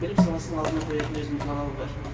білім саласының алдына қоятын өзінің талабы бар